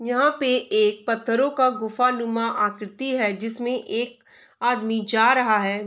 यहाँ पे एक पत्थरों का गुफानुमा आकृति है जिसमें एक आदमी जा रहा है।